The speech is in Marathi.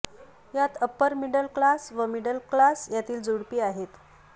यात अप्पर मिडल क्लास व मिडल क्लास यातील जोडपी आहेत